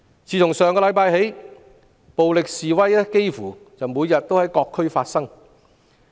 自上星期起，暴力示威幾乎每天在各區發生。